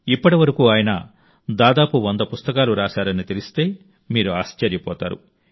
ఇప్పటి వరకు ఆయన దాదాపు 100 పుస్తకాలు రాశారని తెలిస్తే మీరు ఆశ్చర్యపోతారు